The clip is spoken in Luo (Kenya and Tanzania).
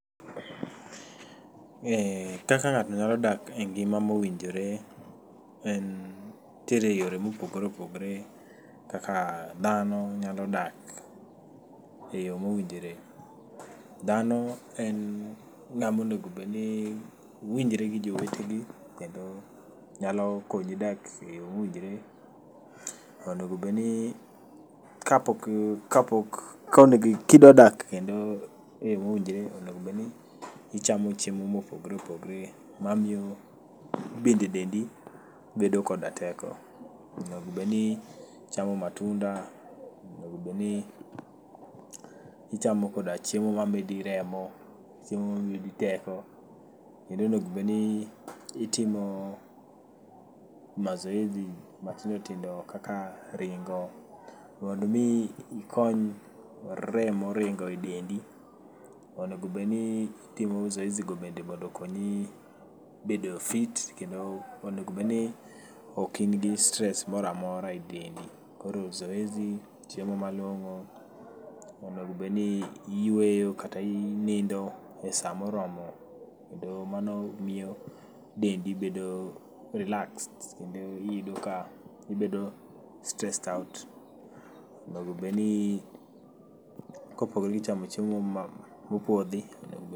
Ee kaka ng'ato nyalo dak e ngima mowinjore en nitiere yore mopogore opogore kaka dhano nyalo dak e yore mowinjore. Dhano en ng'amonegobedni winjre gi jowetegi kendo nyalokonyi dak e yo mowinjore. Onegobedni kapok, kapok ka onegi kidwa dak kendo e yo mowinjore onegobedni ichamo chiemo mopogre opogre ma miyo bende dendi bedo koda teko. Onegobedni ichamo matunda, onegobedni ichamo koda chiemo ma medi remo, chiemo ma medi teko. Kendo onegobedni itimo mazoezi matindo tindo kaka ringo, mondo mi ikony remo ringo e dendi. Onegobedni itimo zoezi go bende mondo okonyi bedo fit kendo onegobedni ok in gi stres moramora e dendi. Koro zoezi, chiemo ma long'o, onegobedni iyweyo kata inindo e sa moromo. Kendo mano miyo dendi bedo relaxed, kendo iyudo ka ibedo stressed out. Onego bedni, kopogore gi chamo chiemo moro ma mopodhi, oneg.